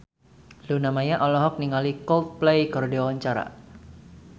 Luna Maya olohok ningali Coldplay keur diwawancara